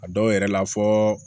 A dɔw yɛrɛ la fɔ